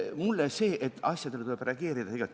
Mulle see meeldib, asjadele tuleb reageerida.